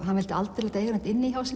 hann vildi aldrei láta eiga neitt inni hjá sér